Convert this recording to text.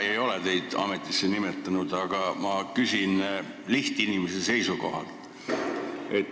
Mina ei ole teid ametisse nimetanud, aga ma küsin lihtinimese seisukohalt.